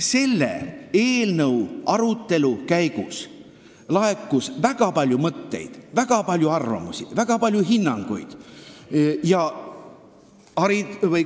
Selle eelnõu arutelu käigus laekus väga palju mõtteid, arvamusi ja hinnanguid.